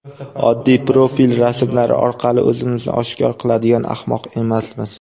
Oddiy profil rasmlari orqali o‘zimizni oshkor qiladigan ahmoq emasmiz.